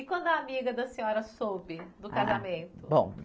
E quando a amiga da senhora soube do casamento? Ah, bom